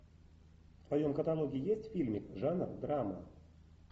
в твоем каталоге есть фильмик жанр драма